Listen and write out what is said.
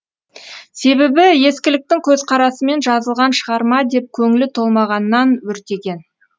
себебі ескіліктің көзқарасымен жазылған шығарма деп көңілі толмағаннан өртеген